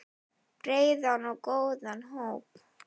Breiðan og góðan hóp.